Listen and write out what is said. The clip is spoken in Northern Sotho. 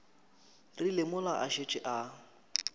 rile mola a šetše a